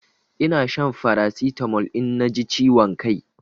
Ina shan Farasitamol in na ji ciwon kai